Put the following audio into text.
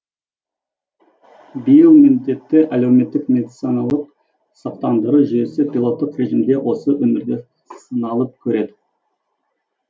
биыл міндетті әлеуметтік медициналық сақтандыру жүйесі пилоттық режимде осы өңірде сыналып көреді